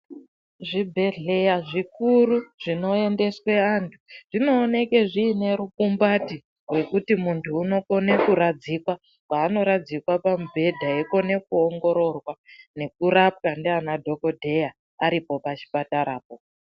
Zvibhedhleya zvikuru, zvinoendeswe anthu ,zvinooneke zviine rukumbati, rwekuti munthu unokone kuradzikwa, paanoradzikwa pamubhedha eikone kuongororwa, nekurapwa ndianadhokodheya aripo pachipatarapo.